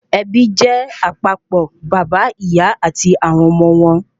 Ẹbí jé àpapọ̀ bàbá, ìyá àti àwọn ọmọ wọn